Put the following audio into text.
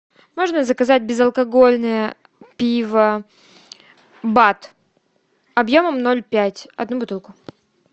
можно заказать безалкогольное пиво бад объемом ноль пять одну бутылку